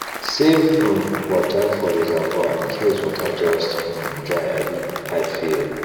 save um water for reservoir incase water just um dry abi pipe fail